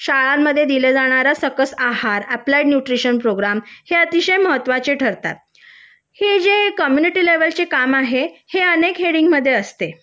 शाळांमध्ये दिला जाणार सकस आहार अप्लाय न्यूट्रीशियन प्रोग्राम हे अतिशय महत्वाचे ठरतात हे जे कम्यूनिटी लेवलचे काम आहे हे अनेक हेडिंग मध्ये असते